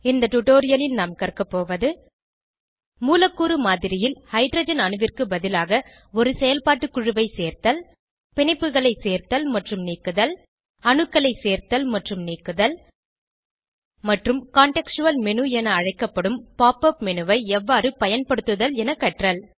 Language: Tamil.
இந்த டுடோரியலில் நாம் கற்கபோவது மூலக்கூறு மாதிரியில் ஹைட்ரஜன் அணுவிற்கு பதிலாக ஒரு செயல்பாட்டு குழுவை சேர்த்தல் பிணைப்புகளை சேர்த்தல் மற்றும் நீக்குதல் அணுக்களை சேர்த்தல் மற்றும் நீக்குதல் மற்றும் கன்டெக்ஸ்டுவல் மேனு என அழைக்கப்படும் pop உப் மேனு ஐ எவ்வாறு பயன்படுத்துதல் என கற்றல்